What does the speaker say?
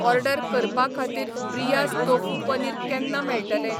Order करपा खातीर ब्रियास तोफू पनीर केन्ना मेळटलें?